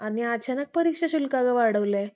आणि अचानक परीक्षा शुल्क वाढवलंय